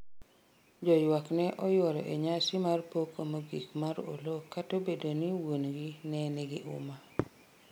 joywak ne oyuoro e nyasi mar kopo mogik mar Oloo kata Obedo ni wuon'gi ne nigi uma